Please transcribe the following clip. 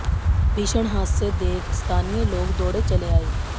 भीषण हादसे देख स्थानीय लोग दौड़े चले आए